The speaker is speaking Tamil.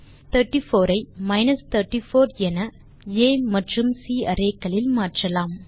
34 ஐ மைனஸ் 34 என ஆ மற்றும் சி அரேக்களில் மாற்றலாம்